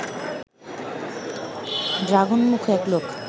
ড্রাগনমুখো এক লোক